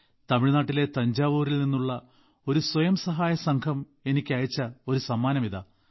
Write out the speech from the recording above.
തമിഴ്നാട്ടിലെ തഞ്ചാവൂരിൽ നിന്നുള്ള ഒരു സ്വയം സഹായ സംഘം എനിക്കയച്ച ഒരു സമ്മാനം ഇതാ